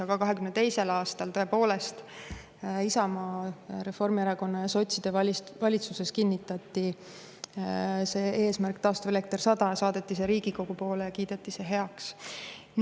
Aga 2022. aastal tõepoolest Isamaa, Reformierakonna ja sotside valitsuses kinnitati see eesmärk, taastuvelekter 100, ja saadeti see Riigikokku, kus see kiideti heaks.